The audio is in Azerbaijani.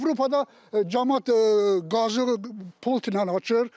Avropada camaat qazı pultla açır.